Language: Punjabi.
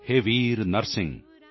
ਹੇ ਵੀਰ ਨਰਸਿੰਹ